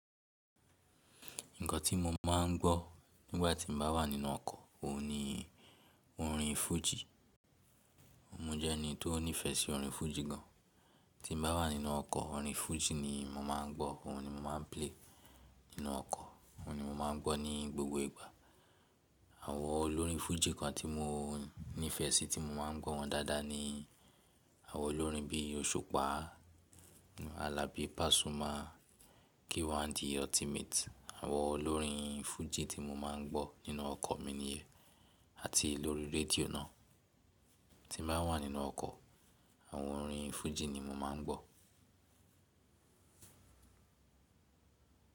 Nǹkan tí mo máa ń gbọ́ nígbà tí mo bá wà nínú ọkọ̀, òun ni orin fújì. Mo jẹ́ ẹni tó nífẹ̀ẹ́ sí orin fújì gan. Tí mo bá wà nínú ọkọ̀, orin fújì ni mo máa ń gbọ́, òun ni mo máa ń play nínú ọkọ̀, òun ni mo máa ń gbọ́ ní gbogbo ìgbà. Àwọn olórin fújì kan tí mo nífẹ̀ẹ́ sí, tí mo máa ń gbọ́ wọn dáadáa ni àwọn olórin bíi Osupa, Alabi Pasuma, K1 The Ultimate. Àwọn olórin fújì tí mo máa ń gbọ́ nínú ọkọ̀ mi nìyẹn àti lórí radio náà. Tí mo bá wà nínú ọkọ̀, àwọn orin fújì ni mo máa ń gbọ́.